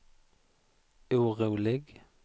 orolig